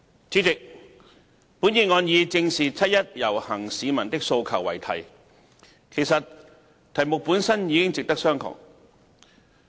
主席，本議案以"正視七一遊行市民的訴求"為題，題目本身已值得商榷。